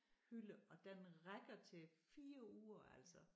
Hylde og den rækker til 4 uger altså